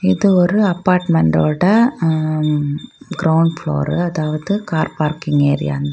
இது ஒரு அப்பார்ட்மெண்டோட அ_ம் கிரௌண்ட் ஃப்ளோரு அதாவது கார் பார்க்கிங் ஏரியா அந்த.